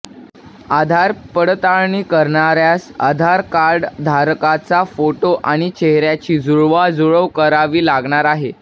आधार पडताळणी करणाऱ्यास आधार कार्डधारकाचा फोटो आणि चेहऱ्याची जुळवाजुळव करावी लागणार आहे